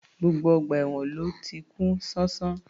Gbogbo ọgbà èwọ̀n ló ti kún ṣánṣán